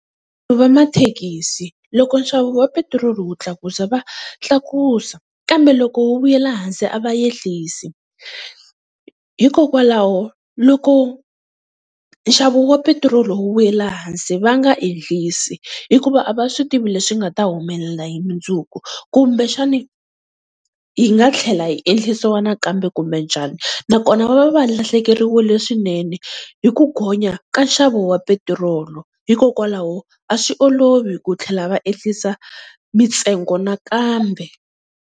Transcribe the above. Vamathekisi loko nxavo wa petiroli wu tlakusa va tlakusa, kambe loko wu vuyela hansi a va ehlisi, hikokwalaho loko nxavo wa petiroli wu vuyela hansi va nga enhlisi hikuva a va swi tivi leswi nga ta humelela hi mundzuku kumbexani yi nga tlhela yi enhlisiwa nakambe kumbe njhani. Nakona va va va lahlekeriwile swinene hi ku gonya ka nxavo wa petiroli, hikokwalaho a swi olovi ku tlhela va ehlisa mintsengo nakambe.